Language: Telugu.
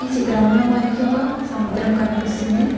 చిత్రంలో మనకి ఒక సముద్రం కనిపిస్తుంది.